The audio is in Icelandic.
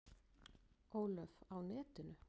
Ólöf: Á netinu?